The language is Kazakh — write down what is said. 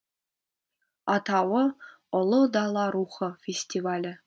атауы ұлы дала рухы фестивалі